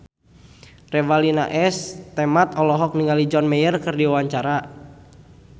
Revalina S. Temat olohok ningali John Mayer keur diwawancara